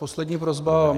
Poslední prosba.